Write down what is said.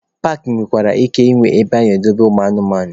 Paakị nwere ike ịnwe ebe ana-edobe ụmụ anụ ọhịa.